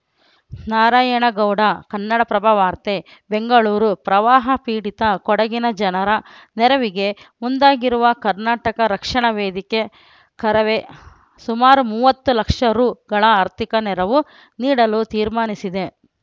ನಾರಾಯಣಗೌಡ ಕನ್ನಡಪ್ರಭ ವಾರ್ತೆ ಬೆಂಗಳೂರು ಪ್ರವಾಹ ಪೀಡಿತ ಕೊಡಗಿನ ಜನರ ನೆರವಿಗೆ ಮುಂದಾಗಿರುವ ಕರ್ನಾಟಕ ರಕ್ಷಣಾ ವೇದಿಕೆ ಕರವೇ ಸುಮಾರು ಮೂವತ್ತು ಲಕ್ಷ ರುಗಳ ಆರ್ಥಿಕ ನೆರವು ನೀಡಲು ತೀರ್ಮಾನಿಸಿದೆ